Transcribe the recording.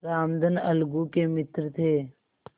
रामधन अलगू के मित्र थे